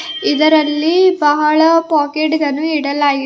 ಇದರಲ್ಲಿ ಬಹಳ ಪಾಕೆಟ್ ಗಳನ್ನು ಇಡಲಾಗಿದೆ.